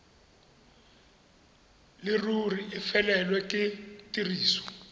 leruri e felelwe ke tiriso